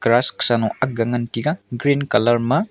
grass sano akga ngan taiga green colour ma.